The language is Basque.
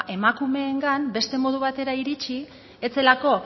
emakumeengan beste modu batera iritsi ez zelako